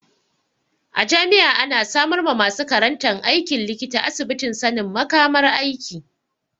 A jami'a ana samar ma masu karantan aikin likita asibitin sanin makamar aiki.